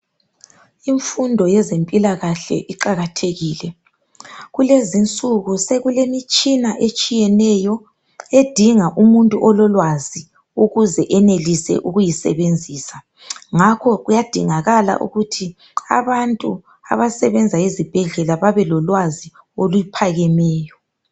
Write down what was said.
Imfundo yezempilakahle iqakathekile. Kulezinsuku sekulemitshina etshiyeneyo edinga umuntu ololwazi ukuze enelise ukuyisebenzisa ngakho kuyadingakala ukuthi abantu abasebenza ezibhedlela babe lolwazi oluphakemeyo.